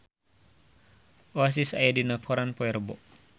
Oasis aya dina koran poe Rebo